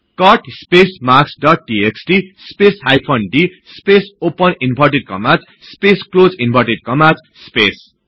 cut space marks dot TXT space hyphen d space open inverted commas space close inverted commas space